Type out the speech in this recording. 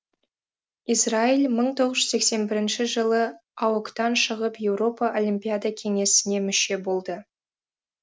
израиль мың тоғыз жүз сексен бірінші жылы аок тан шығып еуропа олимпиада кеңесіне мүше болды